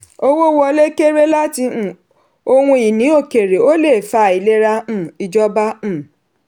owó wọlé kéré láti um ohun ìní òkèrè o le fa àìlera um ìjọba. um